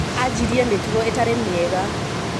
Ajirie mĩtugo ĩtarĩmĩega.